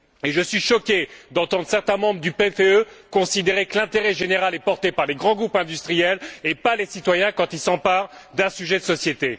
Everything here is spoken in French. Je suis choqué d'entendre certains membres du PPE considérer que l'intérêt général est porté par les grands groupes industriels et non par les citoyens quand ils s'emparent d'un sujet de société.